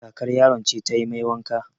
Kakar yaron ce ta yi mai wanka.